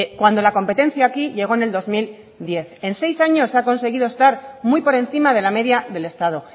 cuando la competencia aquí llegó el dos mil diez en seis años ha conseguido estar muy por encima de la media del estado